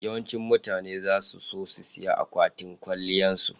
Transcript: Yawancin mutane za su siya akwatin kwaliyan su.